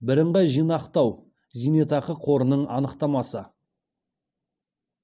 бірыңғай жинақтау зейнетақы қорының анықтамасы